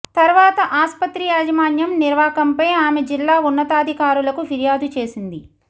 తర్వాత ఆస్పత్రి యాజమాన్యం నిర్వాకంపై ఆమె జిల్లా ఉన్నతాధికారులకు ఫిర్యాదు చేసింది